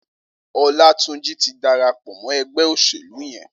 Olatunji ti dàrápọ̀ mọ ẹgbẹ óṣélú yèn